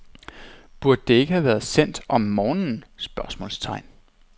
Burde det ikke have været sendt om morgenen? spørgsmålstegn